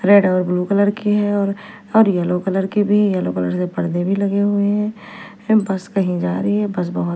red और blue colour की है और और येलो कलर की भी येलो कलर से पर्दे भी लगे हुए है फिम बस कही जारी है बस बहोत --